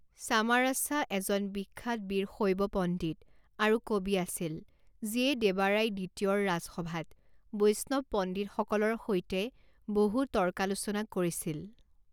চামাৰাছা এজন বিখ্যাত বীৰশৈৱ পণ্ডিত আৰু কবি আছিল, যিয়ে দেৱাৰায়া দ্বিতীয়ৰ ৰাজসভাত বৈষ্ণৱ পণ্ডিতসকলৰ সৈতে বহু তৰ্কালোচনা কৰিছিল।